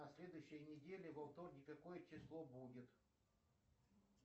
на следующей неделе во вторник какое число будет